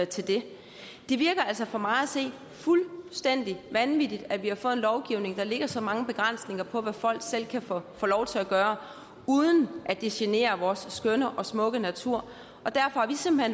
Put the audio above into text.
til det det virker altså på mig fuldstændig vanvittigt at vi har fået en lovgivning der lægger så mange begrænsninger på hvad folk selv kan få lov til at gøre uden at det generer vores skønne og smukke natur